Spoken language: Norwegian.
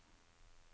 Opphaug